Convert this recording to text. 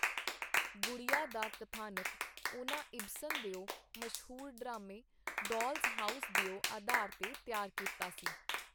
ਗੁੜੀਆ ਦਾ ਕਥਾਨਕ ਉਹਨਾਂ ਇਬਸਨ ਦਿਓ ਮਸ਼ਹੂਰ ਡਰਾਮੇ, ਡਾਲਸ ਹਾਊਸ ਦਿਓ ਆਧਾਰ ਤੇ ਤਿਆਰ ਕੀਤਾ ਸੀ.